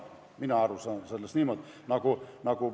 Mina saan sellest niimoodi aru.